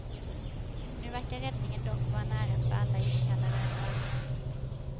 Nu verkar räddningen dock vara nära för alla iskalla röda öron.